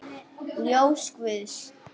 Ljós guðs.